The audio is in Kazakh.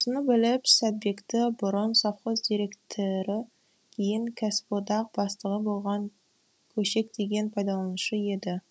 осыны біліп сәтбекті бұрын совхоз деректірі кейін кәсіподақ бастығы болған көшек деген пайдаланушы еді